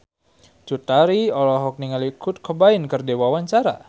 Cut Tari olohok ningali Kurt Cobain keur diwawancara